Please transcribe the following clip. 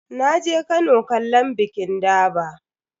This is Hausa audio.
Naje Kano kallon bikin durbar.